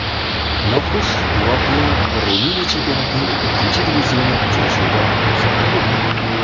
Noxush voqea Ruminiya chempionatining ikkinchi divizion uchrashuvida sodir bo‘ldi.